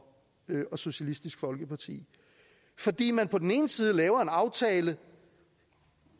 og socialistisk folkeparti fordi man på den ene side laver en aftale